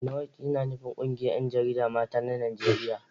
NAWOJ yana nufin ƙungiyar ƴanjarida mata na Najeriya